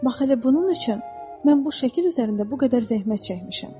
Bax elə bunun üçün mən bu şəkil üzərində bu qədər zəhmət çəkmişəm.